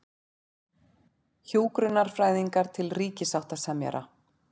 Hjúkrunarfræðingar til ríkissáttasemjara